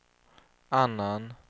annan